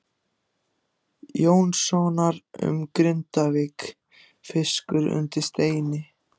Jónssonar um Grindavík, Fiskur undir steini.